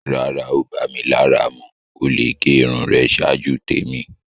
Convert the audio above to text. Rárá, o bá mí lárà mú. O le gé irùn rẹ̀ ṣáàjú tẹ̀mi.